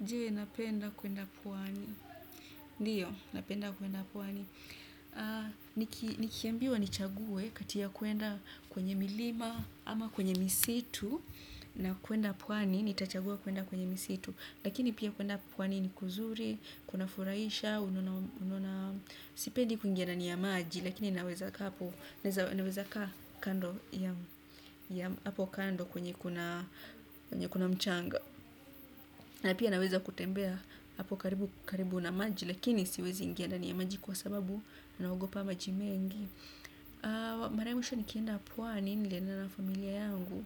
Je, napenda kwenda pwani. Ndiyo, napenda kwenda pwani. Nikiambiwa nichaguwe kati ya kwenda kwenye milima ama kwenye misitu na kwenda pwani, nitachagua kwenda kwenye misitu. Lakini pia kwenda pwani ni kuzuri, kuna furahisha, unaona, unaona, sipendi kuingia ndani ya maji, lakini naweza kaa hapo, naweza kando, ya, ya, hapo kando kwenye kuna, kwenye kuna mchanga. Na pia naweza kutembea hapo karibu na maji lakini siwezi ingia ndani ya maji kwa sababu na ogopa maji mengi mara ya mwisho nikienda pwani nilienda na familia yangu